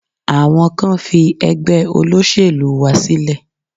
Àwọn kan fi ẹgbẹ́ olóṣèlú wa sílẹ̀.